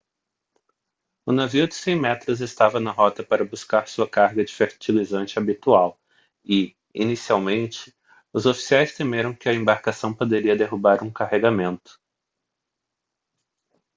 o navio de 100 metros estava na rota para buscar sua carga de fertilizante habitual e inicialmente os oficiais temeram que a embarcação poderia derrubar um carregamento